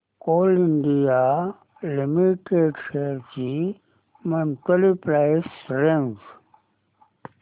Coal India Limited shares ची monthly price range